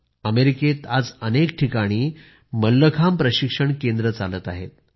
अमेरिकेत आज अनेक ठिकाणी मल्लखांब प्रशिक्षण केंद्रं चालत आहेत